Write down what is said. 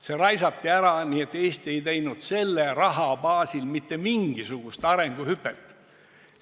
See raisati ära nii, et Eesti ei teinud selle raha baasil mitte mingisugust arenguhüpet.